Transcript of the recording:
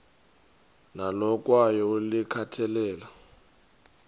nalo kwaye ulikhathalele